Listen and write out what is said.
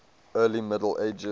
early middle ages